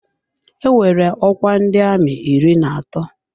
Enwere ọkwa ndị amị iri na atọ.